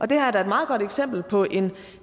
det her er da et meget godt eksempel på en